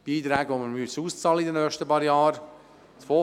Diese Beiträge müssen in den nächsten paar Jahren ausbezahlt werden.